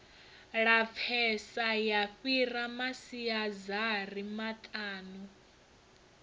lapfesa ya fhira masiazari maṱanu